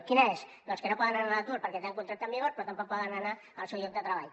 quina és doncs que no poden anar a l’atur perquè tenen un contracte en vigor però tampoc poden anar al seu lloc de treball